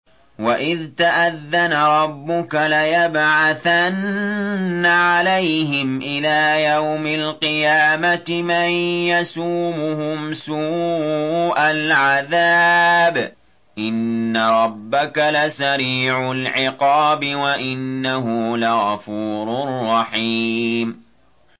وَإِذْ تَأَذَّنَ رَبُّكَ لَيَبْعَثَنَّ عَلَيْهِمْ إِلَىٰ يَوْمِ الْقِيَامَةِ مَن يَسُومُهُمْ سُوءَ الْعَذَابِ ۗ إِنَّ رَبَّكَ لَسَرِيعُ الْعِقَابِ ۖ وَإِنَّهُ لَغَفُورٌ رَّحِيمٌ